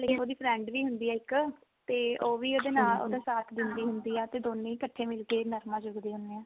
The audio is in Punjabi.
ਇੱਕ ਉਹਦੀ friend ਵੀ ਹੁੰਦੀ ਆ ਇੱਕ ਤੇ ਉਹ ਵੀ ਉਹਦੇ ਨਾਲ ਉਹਦਾ ਸਾਥ ਦਿੰਦੀ ਹੁੰਦੀ ਆ ਤੇ ਦੋਨੇ ਹੀ ਇਕਠੇ ਮਿਲ ਕੇ ਨਰਮਾ ਚੁਗਦੀ ਹੁੰਦੀਆ